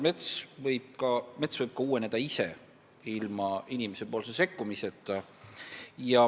Mets võib uueneda ka ise, ilma inimese sekkumiseta.